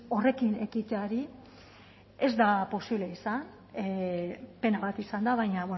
horrekin ekiteari ez da posible izan pena bat izan da baina